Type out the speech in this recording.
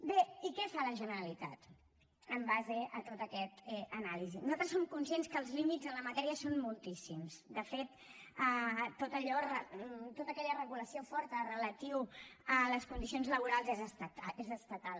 bé i què fa la generalitat en base a tota aquesta anàlisi nosaltres som conscients que els límits en la matèria són moltíssims de fet tota aquella regulació forta relativa a les condicions laborals és estatal